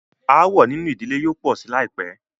Aàwọ̀ nínú ìdílé yóò pọ̀ sí láìpẹ́.